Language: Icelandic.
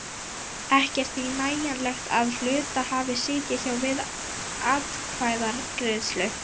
Ekki er því nægjanlegt að hluthafi sitji hjá við atkvæðagreiðslu.